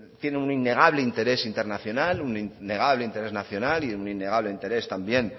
tiene un innegable interés internacional un innegable interés nacional y un innegable interés también